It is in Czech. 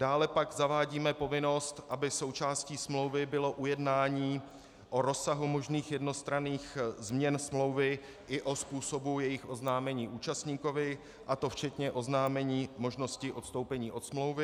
Dále pak zavádíme povinnost, aby součástí smlouvy bylo ujednání o rozsahu možných jednostranných změn smlouvy i o způsobu jejich oznámení účastníkovi, a to včetně oznámení možnosti odstoupení od smlouvy.